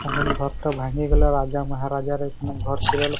এমন ঘরটা ভাঙ্গিয়ে গেল রাজা মহারাজারা এখানে ঘর ছিল।